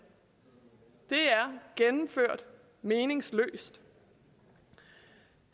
det er gennemført meningsløst